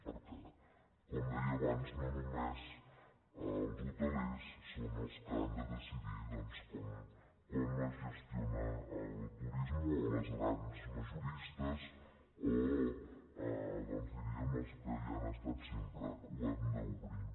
perquè com deia abans no només els hotelers són els que han de de·cidir doncs com es gestiona el turisme o les grans majoristes o diríem els que hi han estat sempre ho hem d’obrir